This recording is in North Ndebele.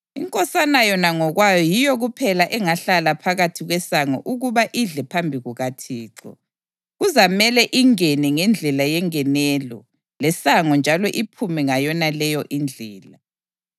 Inkosana yona ngokwayo yiyo kuphela engahlala phakathi kwesango ukuba idle phambi kukaThixo. Kuzamele ingene ngendlela yengenelo lesango njalo iphume ngayonaleyo indlela.”